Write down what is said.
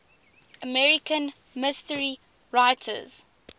american mystery writers